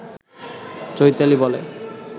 চৈতালি বলে